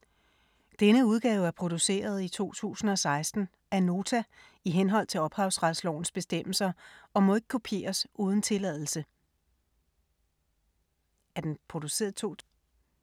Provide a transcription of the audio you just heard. Denne udgave er produceret i 2016 af Nota i henhold til ophavsretslovens bestemmelser og må ikke kopieres uden tilladelse.